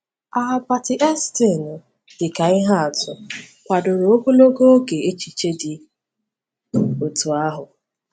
Aabati Eestinu dị ka ihe atụ, kwadoro ogologo oge echiche dị otú ahụ.